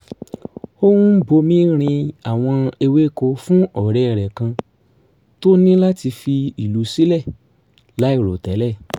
ó ń bomi rin àwọn ewéko fún ọ̀rẹ́ rẹ̀ kan tó ní láti fi ìlú sílẹ̀ láìròtẹ́lẹ̀